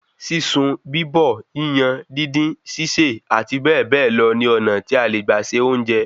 Sísun, bíbọ̀, yíyan, díndín, sísè, àti bẹ́ẹ̀ bẹ́ẹ̀ lọ ni ọ̀nà tí a le gbà se óúńjẹ